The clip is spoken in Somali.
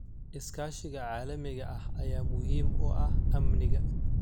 Iskaashiga caalamiga ah ayaa muhiim u ah amniga.